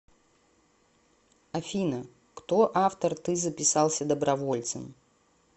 афина кто автор ты записался добровольцем